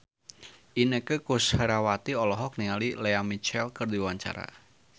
Inneke Koesherawati olohok ningali Lea Michele keur diwawancara